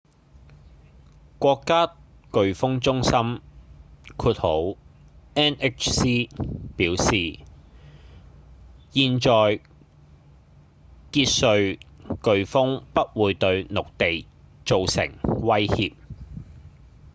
國家颶風中心 nhc 表示現在傑瑞颶風不會對陸地造成威脅